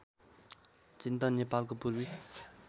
चिन्तन नेपालको पूर्वी